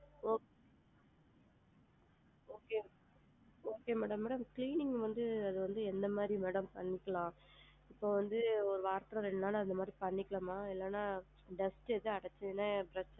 Okay okay okay madam cleaning வந்து என்ன மாதிரி madam பண்ணிக்கலாம் இப்ப வந்து வாரத்துல ரெண்டு நாள் அப்படி பண்ணிக்கலாம்மா? இல்லன்னா dust எதும் அடச்சஉடனே,